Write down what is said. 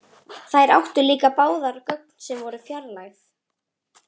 Þær áttu líka báðar gögn sem voru fjarlægð.